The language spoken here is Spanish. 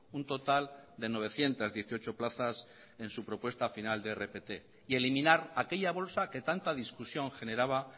un total de novecientos dieciocho plazas en su propuesta final de rpt y eliminar aquella bolsa que tanta discusión generaba